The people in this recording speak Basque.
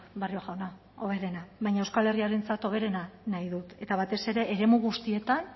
barrio jauna hoberena baina euskal herriarentzat hoberena nahi dut eta batez ere eremu guztietan